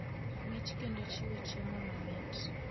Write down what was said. mich kendo chiwo chiemo mamit.